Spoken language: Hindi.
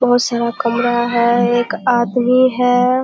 बहुत सारा कमरा हैं एक आदमी है।